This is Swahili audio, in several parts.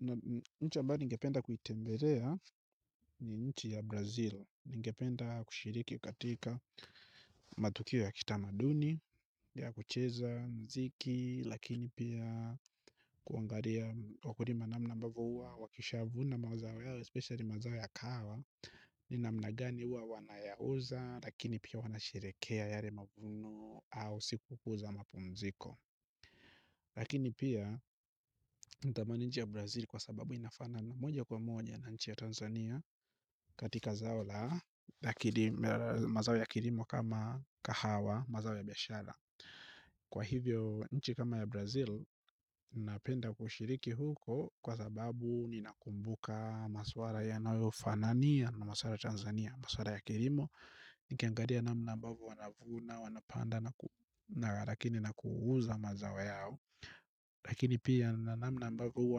Na nchi ambayo ningependa kuitembelea ni nchi ya Brazil. Ningependa kushiriki katika matukio ya kitamaduni. Ya kucheza mziki lakini pia kuangalia wakulima namna ambavo huwa wakishavuna mawazao yao Especially mazao ya kahawa ni namna gani huwa wanayauza lakini pia wanasherekea yale mavuno au siku kuu za mapumziko. Lakini pia, ntamani nchi ya Brazil kwa sababu inafanana moja kwa moja na nchi ya Tanzania. Katika zao la, mazao ya kilimo kama kahawa, mazao ya biashara. Kwa hivyo, nchi kama ya Brazil, napenda kushiriki huko kwa sababu ninakumbuka maswala yanayo fanania na maswala ya Tanzania. Maswala ya kilimo, nikiangalia namna ambavo wanavuna, wanapanda na kuuza mazao yao. Lakini pia na namna ambavo huwa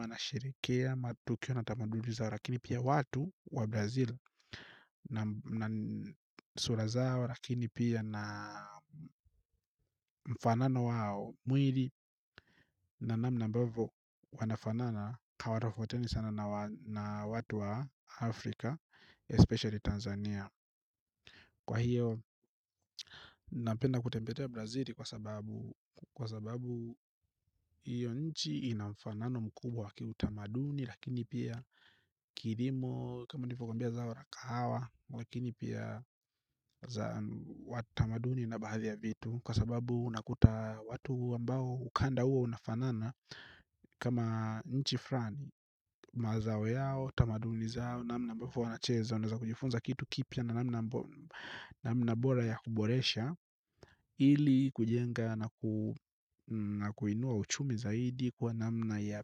wanashirikia matukio na tamaduni zao. Lakini pia watu wa brazil. Sura zao lakini pia na mfanano wao. Mwili na namna ambavo wanafanana kawarafoteni sana na watu wa afrika Especially Tanzania. Kwa hiyo napenda kutembelea brazili kwa sababu kwa sababu hiyo nchi ina mfanano mkubwa kiu tamaduni lakini pia kilimu kama nilivyo kuambia zao la kahawa lakini pia za watamaduni na baadhi ya vitu kwa sababu unakuta watu ambao ukanda huo unafanana kama nchi fran mazao yao tamaduni zao namna ambavyo wanacheza unaeza kujifunza kitu kipya na namna bora ya kuboresha ili kujenga na kuinua uchumi zaidi kwa namna ya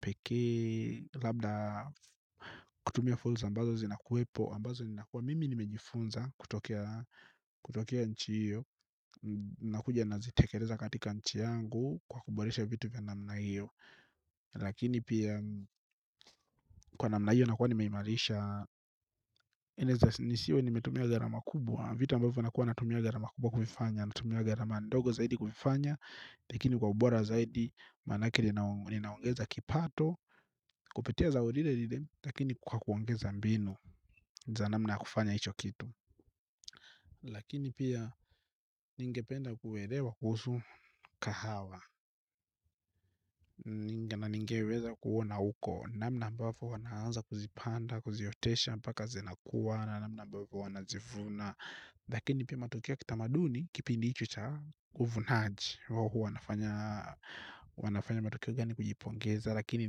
pekee labda kutumia fursa ambazo zinakuwepo ambazo nina kuwa mimi nimejifunza kutokea kutokea nchi hiyo nakuja nazitekeleza katika nchi yangu kwa kuboresha vitu kwa namna hiyo lakini pia kwa namna hiyo nakuwa nimeimarisha nisiwe nimetumia gharama kubwa vitu ambavyo nakuwa natumia gharama kubwa kuvifanya natumia gharama ndogo zaidi kuvifanya lakini kwa ubora zaidi manake li linaongeza kipato kupitia za lile lile lakini kwa kuongeza mbinu za namna ya kufanya hicho kitu lakini pia ningependa kuelewa kuhusu kahawa ninge na ningeweza kuona uko namna ambavo wanaanza kuzipanda kuziotesha mpaka zinakuwa namna ambavo wanazivuna lakini pia matokea kitamaduni kipindi hicho cha uvunaji huwa nafanya huwanafanya matokeo gani kujipongeza lakini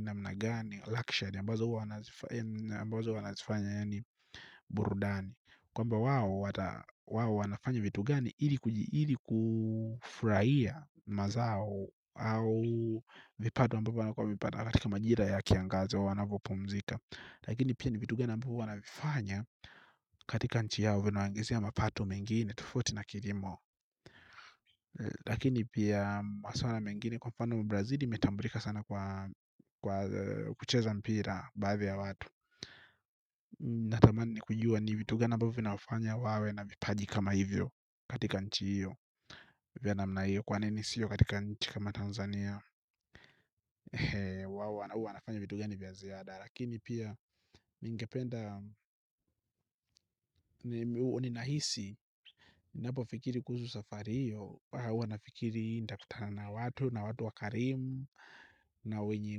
namna gani ambazo huwa nazifanya yaani burudani kwamba wao wanafanya vitu gani ili kuji iliku furahia mazao au vipato ambavyo wanakuwa wamevipata katika majira ya kiangazo wanavopumzika lakini pia ni vitu gani ambavo wanafanya katika nchi yao vinaongezea mapato mengine tofauti na kilimo lakini pia maswala mengine kwa mfano brazili imetambulika sana kwa kwa kucheza mpira. Baadhi ya watu natamani kujua ni vitu gani ambavyo vina wafanya wawe na vipaji kama hivyo katika nchi hiyo hiyo. Kwa nini siyo katika nchi kama Tanzania Wawa na huwa wanafanya vitugani vya ziada. Lakini pia ningependa O ninahisi napo fikiri kuhusu safari hiyo huwa nafikiri ntakutana na watu na watu wakarimu na wenye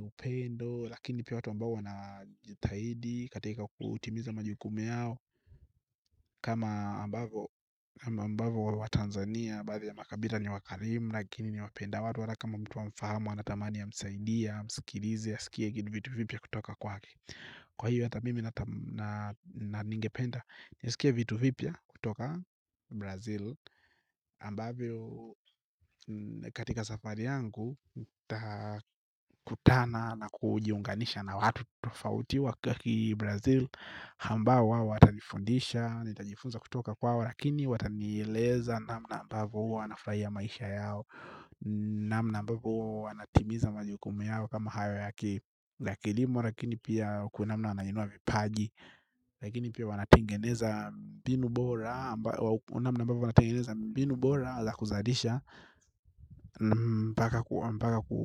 upendo. Lakini pia watu ambao wana jitahidi katika kutimiza majukumu yao kama ambavo ambavo wa Tanzania ambavo ya makabila ni wakarimu lakini ni wapenda watu hata kama mtu hamfahamu anatamani amsaidia, amsikilizi asikie kitu vitu vipya kutoka kwake kwa hiyo hata mimi na ningependa nisikie vitu vipya kutoka Brazil ambavyo katika safari yangu kutana na kujiunganisha na watu tofauti wa kaki Brazil ambao wao watanifundisha nitajifunza kutoka kwao lakini watanieleza namna ambavo huwa wanafurahia maisha yao namna ambavo huwa wanatimiza majukumu yao kama hayo yaki la kilimo lakini pia kwa namna wanainua vipaji lakini pia wanatengeneza mbinu bora namna ambavo wanatengeneza mbinu bora za kuzalisha mpaka ku.